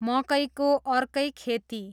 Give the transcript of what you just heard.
मकैको अर्कै खेती